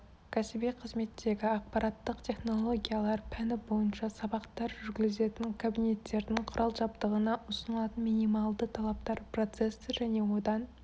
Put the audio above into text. кәсіби қызметтегі ақпараттық технологиялар пәні бойынша сабақтар жүргізілетін кабинеттердің құрал-жабдығына ұсынылатын минималды талаптар процессор және одан